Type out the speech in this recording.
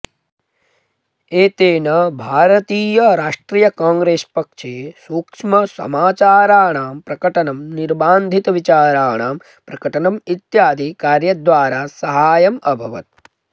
एतेन भारतीय राष्ट्रिय कांग्रेस् पक्षे सूक्ष्म समाचाराणं प्रकटनं निर्बान्धितविचाराणां प्रकटनम् इत्यादि कार्यद्वारा साहाय्यमभवत्